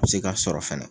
Se ka sɔrɔ fɛnɛ